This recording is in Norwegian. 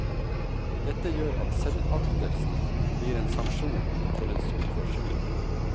Dette gjør at selvaktelsen blir en sanksjon for ens oppførsel.